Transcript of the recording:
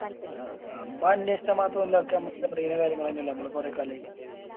അഹ് അത് അന്വേഷിക്കാൻ മാത്രോല്ല അതൊക്കെ അമ്മക്ക് അറിയുന്ന കാര്യങ്ങളെന്നെല്ലേ ഞമ്മള് കൊറേ കാലായി